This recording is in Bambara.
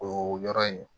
O yɔrɔ in